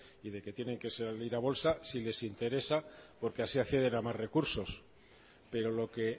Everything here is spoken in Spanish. y de que tienen que salir a bolsa si les interesa porque así acceden a más recursos pero lo que